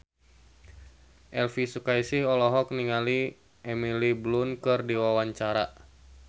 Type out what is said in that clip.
Elvi Sukaesih olohok ningali Emily Blunt keur diwawancara